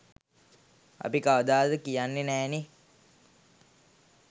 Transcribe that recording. අපි කවදාවත් කියන්නෙ නෑනෙ